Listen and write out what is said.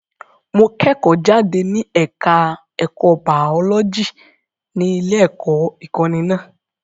Mo kẹ́kọ̀ọ́ jáde ní ẹ̀ka ẹ̀kọ́ baọ́lọ́jì ní ilé-ẹ̀kọ́ ìkọ́ni náà.